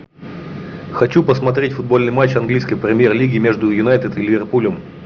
хочу посмотреть футбольный матч английской премьер лиги между юнайтед и ливерпулем